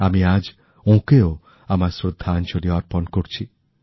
আমি আজ ওঁকেও আমার শ্রদ্ধাঞ্জলি অর্পণ করছি